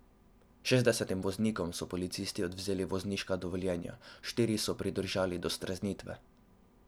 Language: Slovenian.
Šestdesetim voznikom so policisti odvzeli vozniška dovoljenja, štiri so pridržali do streznitve.